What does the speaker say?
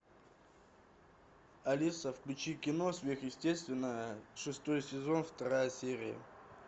алиса включи кино сверхъестественное шестой сезон вторая серия